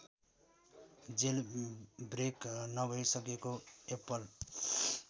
jailbreak नभइसकेको Apple